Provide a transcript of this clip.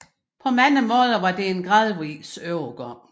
På mange måder var det en gradvis overgang